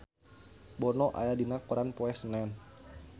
Bono aya dina koran poe Senen